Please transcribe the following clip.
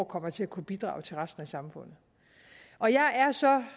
kommer til at kunne bidrage til resten af samfundet og jeg er så